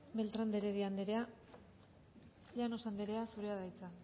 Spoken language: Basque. beltrán de heredia andrea llanos andrea zurea da hitza